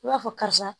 I b'a fɔ karisa